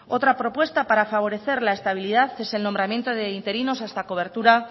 otra propuesta para favorecer la estabilidad es el nombramiento de interinos hasta cobertura